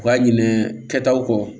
U k'a ɲinɛ kɛ taw kɔ